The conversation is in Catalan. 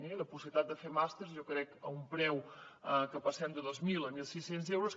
i la possibilitat de fer màsters jo crec a un preu que passem de dos mil a mil sis cents euros